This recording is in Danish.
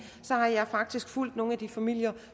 at jeg faktisk har fulgt nogle af de familier